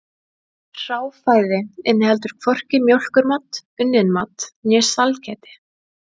Hráfæði inniheldur hvorki mjólkurmat, unnin mat né sælgæti.